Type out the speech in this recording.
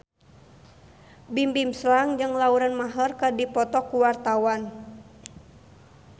Bimbim Slank jeung Lauren Maher keur dipoto ku wartawan